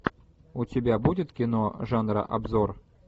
у тебя будет кино жанра обзор